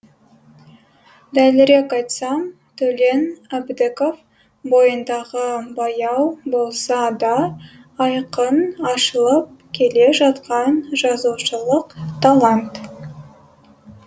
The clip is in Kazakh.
дәлірек айтсам төлен әбдіков бойындағы баяу болса да айқын ашылып келе жатқан жазушылық талант